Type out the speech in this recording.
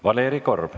Valeri Korb.